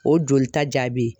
O jolita jaabi